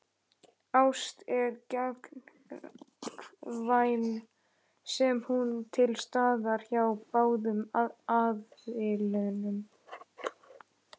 Ást er gagnkvæm sé hún til staðar hjá báðum aðilum.